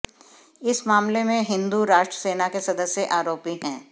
इस मामले में हिंदू राष्ट सेना के सदस्य आरोपी हैं